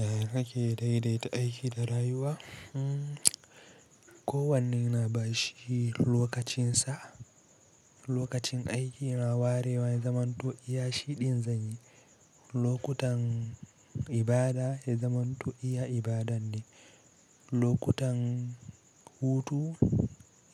Eh nake daidaita aiki da rayuwa. Uhm, kowane ina bashi lokacinsa. Lokacin aikina warewa ya zamanto iya shiɗin zani. Lokutan ibada ya zamanto iya ibadan ne. Lokutan hutu